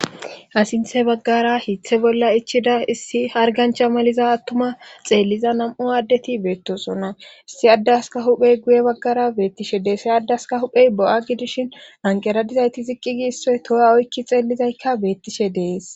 Asinthe baggara hithe bolla ichida issi hargancha maliza attuma xeelliza nam'u addeti beettosonna issi addaska huphey guye baggara beettishe deesse addaska huphey bo'a gidishinanqeradizayti ziqqigi isso toha oykki xeellizaykka beettishe dees.